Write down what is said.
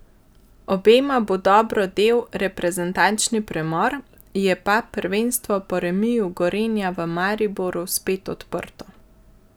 Obema bo dobro del reprezentančni premor, je pa prvenstvo po remiju Gorenja v Mariboru spet odprto.